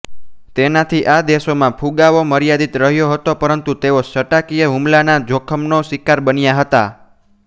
તેનાથી આ દેશોમાં ફુગાવો મર્યાદિત રહ્યો હતો પરંતુ તેઓ સટ્ટાકીય હુમલાના જોખમનો શિકાર બન્યા હતા